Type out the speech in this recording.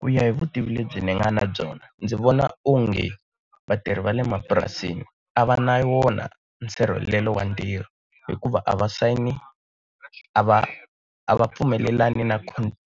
Ku ya hi vutivi lebyi ni nga na byona ndzi vona onge, vatirhi va le mapurasini a va na wona nsirhelelo wa ntirho hikuva a va sayini a va a va pfumelelani na